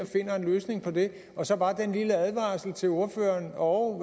finder en løsning på det og så bare den lille advarsel til ordføreren og